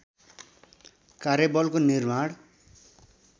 कार्यबलको निर्माण